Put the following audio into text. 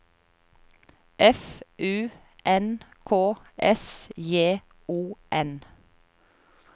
F U N K S J O N